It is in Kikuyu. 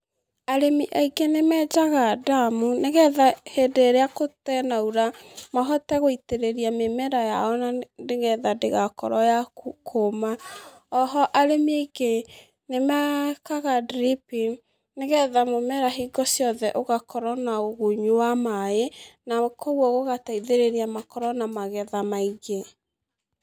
Arĩmi aingĩ nĩmenjaga ndamu, nĩgetha hĩndĩ ĩrĩa gũtenaura, mahote gũitĩrĩria mĩmera yao na nĩgetha ndĩgakorwo ya ku kũma, oho arĩmi aingĩ, nĩmekaga dripping nĩgetha mũmera hingo ciothe ũgakorwo na ũgunyu wa maĩ na koguo ũgateithĩriria makorwo na magetha maingĩ.